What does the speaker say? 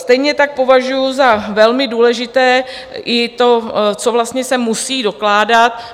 Stejně tak považuji za velmi důležité i to, co vlastně se musí dokládat.